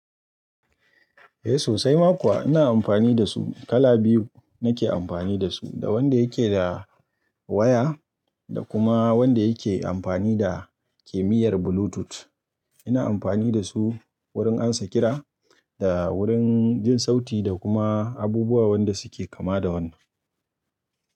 Eh sosai ma kuwa ina amfani da su kala biyu nake amfani da su, da wanda yake da waya da kuma wanda yake amfani da kimiyyar bluetooth. Ina amfani da su wurin ansa kira da wurin jin sauti da kuma abubuwa wanda suke kama da wannan.